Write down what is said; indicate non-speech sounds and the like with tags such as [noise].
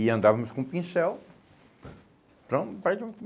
E andávamos com pincel, [unintelligible]